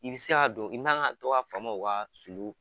I bi se ka don i man ka to ka fama u kaa sulu